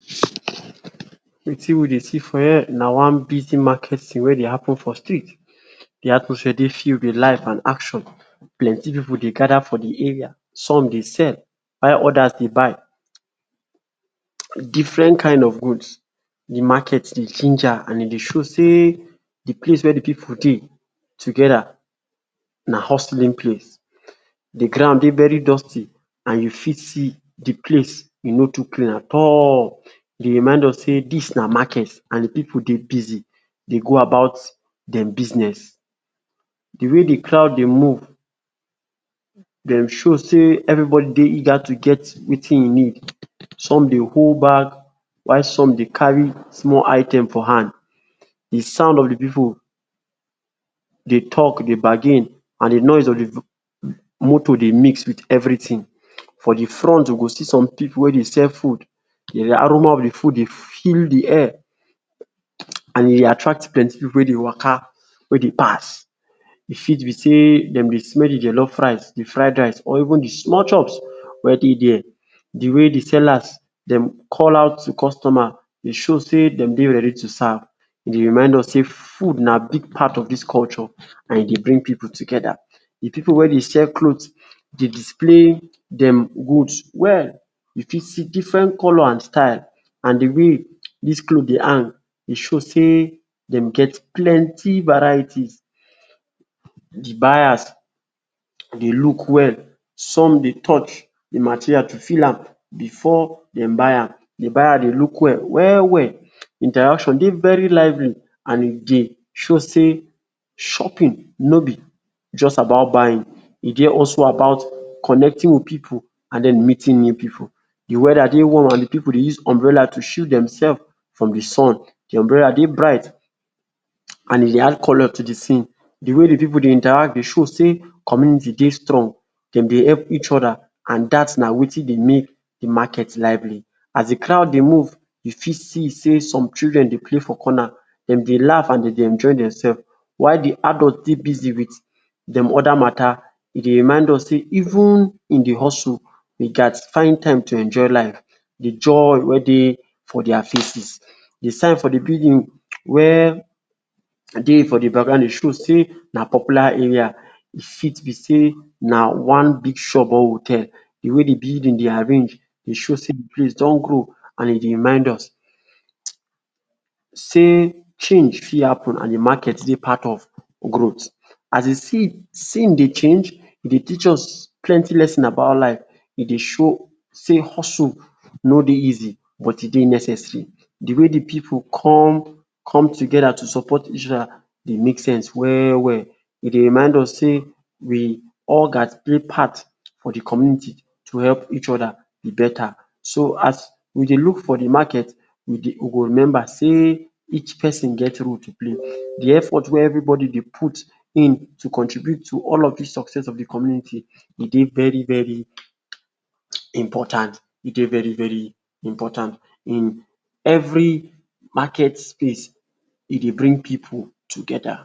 Wetin we dey see for here na one busy market scene wey dey happen for street, di atmosphere dey filled wit life and action. Plenty pipu dey gather for di area, some dey sell while odas dey buy different kain of goods di market bi ginger and e dey show sey di place wia di pipu dey together na hustling place. Di ground dey very dusty and you fit see di place e no too clean at all e dey remind us sey dis na market and di pipu dey busy dey go about dem business. Di way di crowd dey move dem show sey everybody dey eager to get wetin e need, some dey hold bag while some dey carry small items for hand. Di sound of di pipu dey talk dey bargain and di noise of di motor dey mix wit everytin for di front you go see some pipu wey dey sell food, di aroma of di food dey fill di air and e attract plenty pipu wey dey waka wey dey pass. E fit be sey dem dey smell jollof rice, di fried rice or even di small chops wey dey dia. Di way di sellers dem call out customers dey show sey dem dey ready to serve dey remind us sey food na big part of dis culture and e dey bring pipu together. Di pipu wey dey sell cloth dey display dem goods well, you fit see different color and style and di way dis cloth dey hang e show sey dem get plenty varieties di buyers dey look well some dey touch di materials to feel am before dem buy am, di buyer dey look well well well. Interaction dey very lively and e dey show sey shopping no be just about buying e dey also about connecting wit pipu and dem meeting new pipu, di weda dey warm and pipu dey use umbrella to shield dem self from di sun di umbrella dey bright and e dey add colour to di scene. Di wey di pipu dey interact dey show sey community dey strong, dem dey help each oda and dat na watin be make di market lively. As di crowd dey move you fit see sey some children dey play for conner, dem dey laugh and dem dey enjoy demself why di adult dey busy with dem oda mata dey remind us sey even in di hustle we gas find time enjoy life, di joy wey dey for dia faces. Di sign for di building wey dey for di background show sey na popular area, e fit be sey na one big shop or hotel, di way di building dey arrange dey show sey di place place don grow and e dey remind us sey change fit happen and market dey part of growth. As di scene dey change e dey teach us plenty lesson about life, e dey show sey hustle no dey easy but e dey necessary, di way di pipu come come together to support each oda dey make sense well well e dey remained us sey we all gas play part for di community to help each oda beta. So as we go look for di market we go remember sey each pesin get role to play, di effort wey everybody put in to contribute to di success of di community e dey very very important e dey very very important in Every market space e dey bring pipu together.